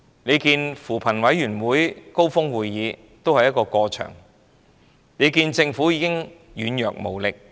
試看扶貧委員會高峰會，那只不過是"過場"的安排，政府已經軟弱無力。